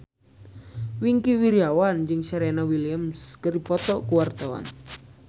Wingky Wiryawan jeung Serena Williams keur dipoto ku wartawan